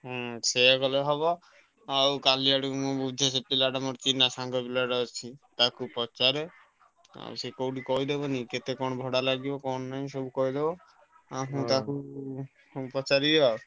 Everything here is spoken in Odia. ହଁ ସେଇୟା କଲେ ହବ ଆଉ କାଲି ଆଡକୁ ମୁଁ ବୁଝେ ସେ ପିଲା ଟା ମୋର ଚିନ୍ହା ସାଙ୍ଗ ପିଲା ଟା ଅଛି ତାକୁ ପଚାରେ ଆଉ ସେ କଉଠି କହି ଦବ ନି କି କେତେ କଣ ଭଡା ଲାଗିବ କଣ ନାହିଁ ସବୁ କହି ଦବ ଆମେ ତାକୁ ପଚାରିବା।